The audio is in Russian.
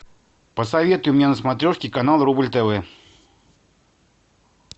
посоветуй мне на смотрешке канал рубль тв